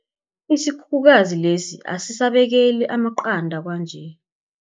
Isikhukhukazi lesi asisabekeli amaqanda kwanje.